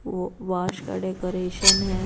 वो वाश का डेकोरेशन है।